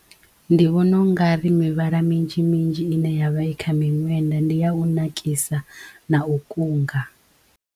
Ndi vhona u nga ri mivhala minzhi minzhi ine yavha i kha miṅwenda ndi ya u nakisa na u kunga.